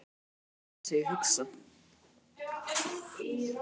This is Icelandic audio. Ég er einungis það sem ég hugsa.